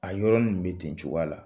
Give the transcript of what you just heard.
A yɔrɔnin bɛ ten cogoya la